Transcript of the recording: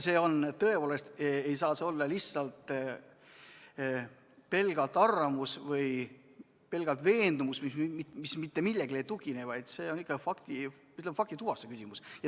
Tõepoolest, see ei saa olla pelgalt arvamus või veendumus, mis mitte millelegi ei tugine, vaid see on ikkagi, ütleme, faktituvastuse küsimus.